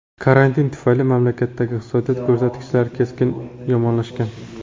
Karantin tufayli mamlakatdagi iqtisodiy ko‘rsatkichlar keskin yomonlashgan.